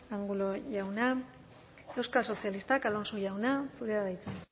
angulo jauna euskal sozialistak alonso jauna zurea da hitza